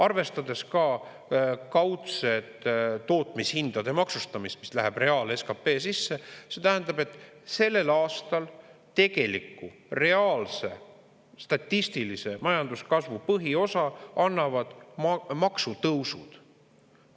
Arvestades ka kaudset tootmishindade maksustamist, mis läheb reaal-SKP-sse, see tähendab, et sellel aastal tegeliku reaalse statistilise majanduskasvu põhiosa annavad maamaksutõusud.